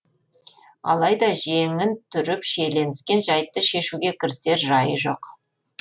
алайда жеңін түріп шиеленіскен жайтты шешуге кірісер жайы жоқ